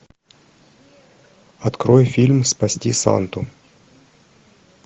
открой фильм спасти санту